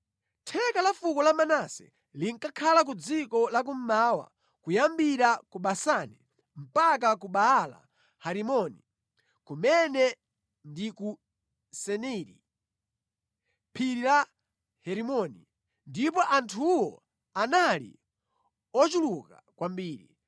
Theka la fuko la Manase linkakhala ku dziko la kummawa kuyambira ku Basani mpaka ku Baala-Herimoni, kumene ndi ku Seniri (Phiri la Herimoni) ndipo anthuwo anali ochuluka kwambiri.